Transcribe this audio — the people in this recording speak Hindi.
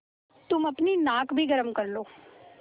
तुम अपनी नाक भी गरम कर लो